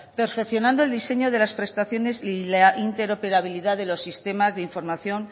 perfeccionando el diseño de las prestaciones y la interoperabilidad de los sistemas de información